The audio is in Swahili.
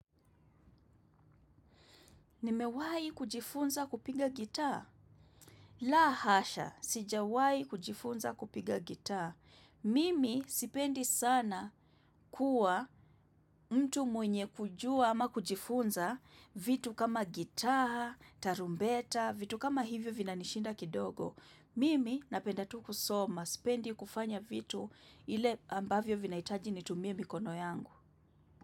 Nimewai kujifunza kupiga gitaa? La hasha, sijawai kujifunza kupiga gitaa. Mimi sipendi sana kuwa mtu mwenye kujua ama kujifunza vitu kama gitaa, tarumbeta, vitu kama hivyo vinanishinda kidogo. Mimi napenda tu kusoma, sipendi kufanya vitu ile ambavyo vinaitaji nitumie mikono yangu.